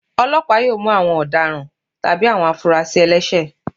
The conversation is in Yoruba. Ọlọpa yóò mú awọn ọdáràn tabí awọn afúrásí ẹlẹṣẹ